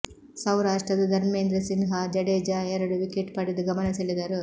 ಸೌರಾಷ್ಟ್ರದ Dharmendrasinh Jadeja ಎರಡು wicket ಪಡೆದು ಗಮನ ಸೆಳೆದರು